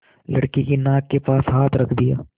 लड़के की नाक के पास हाथ रख दिया